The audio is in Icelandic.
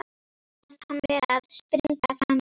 Honum fannst hann vera að springa af hamingju.